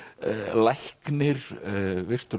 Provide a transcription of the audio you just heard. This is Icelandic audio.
læknir virtur